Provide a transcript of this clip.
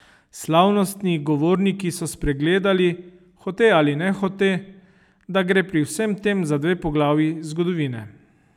Slavnostni govorniki so spregledali, hote ali nehote, da gre pri vsem tem za dve poglavji zgodovine.